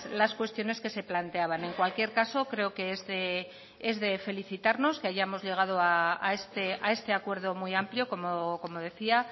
las cuestiones que se planteaban en cualquier caso creo que es de felicitarnos que hayamos llegado a este acuerdo muy amplio como decía